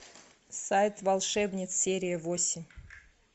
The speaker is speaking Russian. сайт волшебниц серия восемь